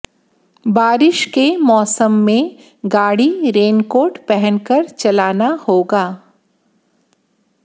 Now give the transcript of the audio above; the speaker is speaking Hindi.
बारिश के मौसम में गाड़ी रेनकोट पहनकर चलना होगा